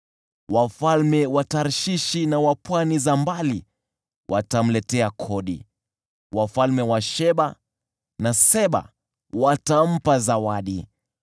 Wafalme wa Tarshishi na wa pwani za mbali watamletea kodi; wafalme wa Sheba na Seba watampa zawadi.